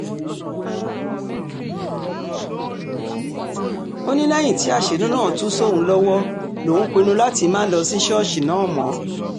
ó ní lẹ́yìn tí àṣírí náà tú sóun lọ́wọ́ lòún pinnu láti má lọ sí ṣọ́ọ̀ṣì náà mọ́